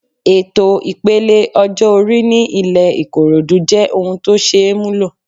Ètò ipele ọjọ́ orí ní ilẹ Ikorodu jẹ́ ohun tó ṣeé múlò.